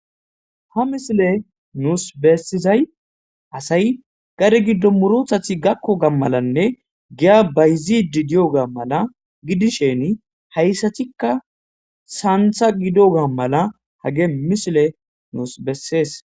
Ha misile nuus bessizay asay gare giddo murothathi gakko gammalanne giya bayzidi diyoga mala gidisheni hayssatikka saantha gidoga mala hage misile nuus bessees.